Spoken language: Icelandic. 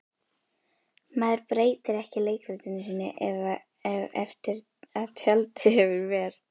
Maður breytir ekki leikritinu sínu eftir að tjaldið hefur ver